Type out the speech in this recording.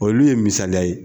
Olu ye misaliya ye